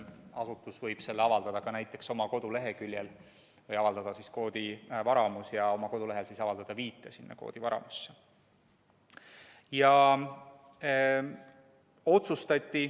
Asutus võib selle avaldada ka näiteks oma koduleheküljel või avaldada koodivaramus ja panna oma kodulehele viite sinna koodivaramusse.